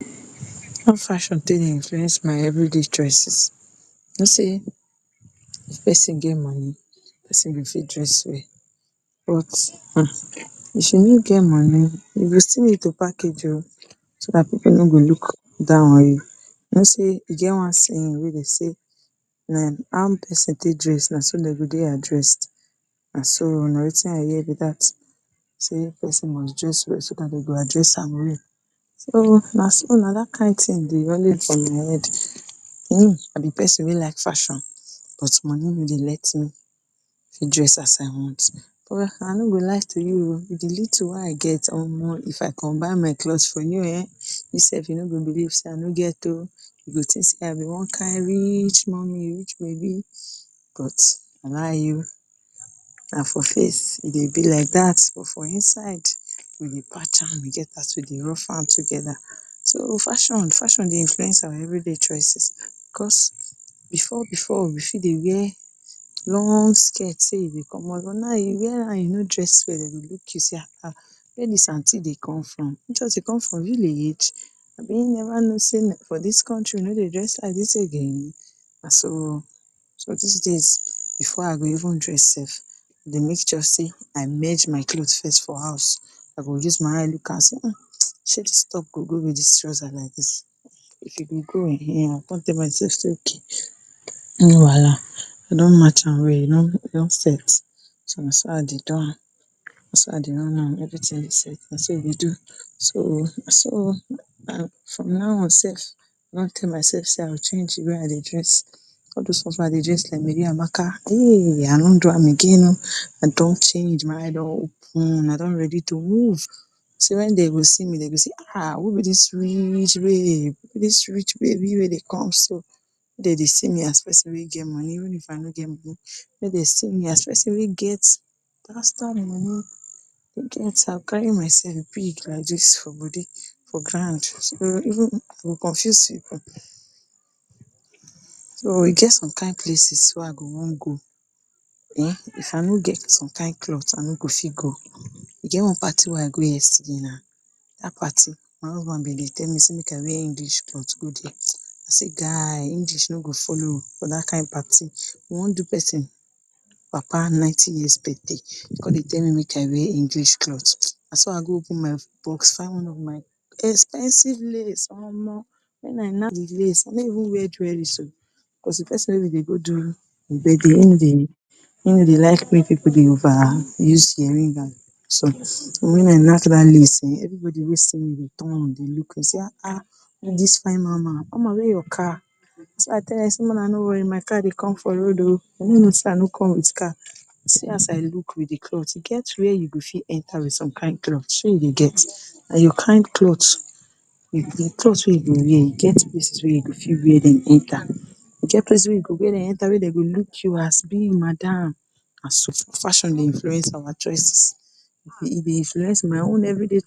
How fashion take dey influence my everyday choices? You know sey if pesin get moni pesin go fit dress well but um if you no get moni you go still need to package o so dat pipu no go look down on you, you know sey e get one saying wey be say how pesin take dress na so dem go dey addressed so na watin I hear be dat sey pesin must dress well so dat dem go address am well, so o na dat kain tin dey for my head. Me I be pesin wey like fashion but moni no dey let me fit dress as I want well I no go lie to you o wit di little wey I get um if I combine my cloth for you um you self you no go believe sey I no get you go tink sey I be one kain reach mummy, rich baby but na lie na for face e dey be like dat but for inside we dey patch am e get as we dey rough am together. So fashion, fashion dey influence our everyday choices cos before before we fit dey wear long skirt sey you dey commot but now you wear am you no dress well dem go look you see um wia dis aunty dey come from sure sey e dey come from village? Abi e neva know sey for dis country e no dey dress like dis again na so o. so dis days before I go even dress self I dey make sure sey I merge my cloth first for house I go use my eye look am sey um sey dis top go go wit dis trouser like dis if e go um I go come tell myself sey okay no wahala I don match am well e don set na so I dey do am na so I dey run am everytin go set na so we dey do so naso o. um from now on self I don tell myself sey I go change di way I dress all dose ones wey I dey dress like Mary Amaka um I no do am again o I don change, my eye don open, I don ready to move sey wen dem go see me dem go say um who be dis rich babe who be dis rich babe wey dey come so. Make dem dey see me as pesin wey get moni even if I no get moni make dem see me as pesin wey get bastard moni, as I carry myself big like dis for body for ground even e go confuse pipu. So e get some kain places wey I go wan go um if I no get some kain cloth I no go fit go. E get one party wey I go yesterday now dat party my husband be di tell me sey make I wear English cloth go dia, I say guy English no go follow for dat kain party, we wan do pesin papa ninety years birthday you com dey tell me make I wear English cloth. Na so go I go open my box find one of my expensive lace [um]wen I knack di lace I no even wear jewelry o because di pesin wey we dey go do him birthday him no dey like make pipu dey over use earring and so wen I knack dat lace everybody wey see me turn dey look me sey um look dis fine mama, mama wey your car, na so I tell dem sey make una no worry my car dey come for road o dem no know sey I no come wit car see as I look wit di cloth. E get wia you go fit enter wit some kain cloth shey you dey get na your kain cloth di cloth wey you go wear e get place wey you fit wear dem enter e get places wia you go enter wey dem go look you as big madam. Na so fashion dey influence our choices e dey influence my own every day